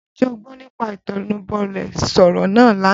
Ǹjẹ́ o gbọ́ nípa Ìtẹnubọlẹ̀ sọ̀rọ̀ náà lánàá?